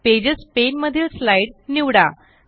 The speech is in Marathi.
पेजेस पाने मधील स्लाईड निवडा